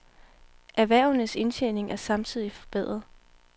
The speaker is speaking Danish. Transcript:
Erhvervenes indtjening er samtidig forbedret.